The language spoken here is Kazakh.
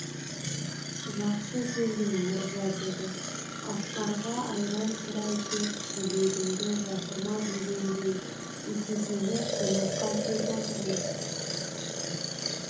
жақсы келдің мырза деді асқарға айран сұрай кеп шелегіңді жасырма дегендей итекеңе қонаққа кеп отырмыз